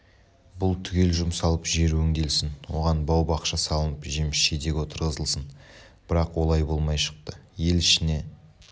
бұл түгел жұмсалып жер өңделсін оған бау-бақша салынып жеміс-жидек отырғызылсын бірақ олай болмай шықты ел ішіне